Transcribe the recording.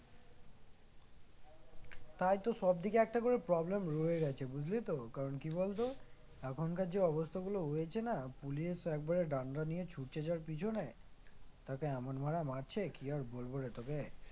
তাইতো সবদিকে একটা করে problem রয়েই গেছে বুঝলি তো কারন কি বলতো এখনকার যে অবস্থাগুলো হয়েছে না police একবারে ডান্ডা নিয়ে ছুটছে যার পেছনে তাকে এমন মারা মারছে কি আর বলব রে তোকে